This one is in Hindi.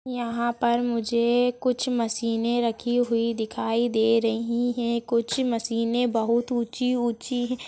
यहाँ पर मुझे कुछ मशीने रखी हुई दिखाई दे रही हैं कुछ मशीने बहुत ऊंची-ऊंची है।